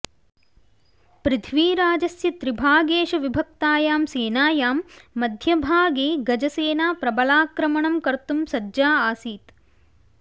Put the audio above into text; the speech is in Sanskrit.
पृथ्वीराजस्य त्रिभागेषु विभक्तायां सेनायां मध्यभागे गजसेना प्रबलाक्रमणं कर्तुं सज्जा आसीत्